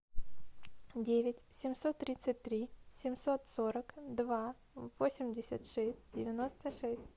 девять семьсот тридцать три семьсот сорок два восемьдесят шесть девяносто шесть